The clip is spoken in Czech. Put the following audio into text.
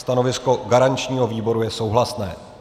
Stanovisko garančního výboru je souhlasné.